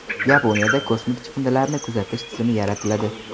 Yaponiyada kosmik chiqindilarni kuzatish tizimi yaratiladi.